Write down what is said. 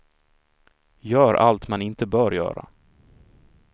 Gör allt man inte bör göra.